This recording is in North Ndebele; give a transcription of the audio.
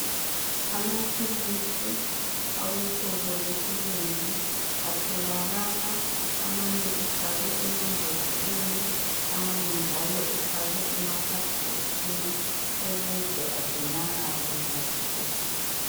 Amaphilisi awehlobo lwesilungu atholakala amanye ebhalwe emambodleleni amanye njalo efakwe emakhadibhoksini ukuze agcinakale kuhle.